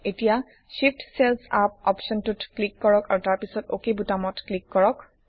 এতিয়া Shift cells up অপশ্বনটোত click কৰক আৰু তাৰপিছত অক বুতামটোত ক্লিক কৰক